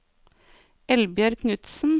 Eldbjørg Knudsen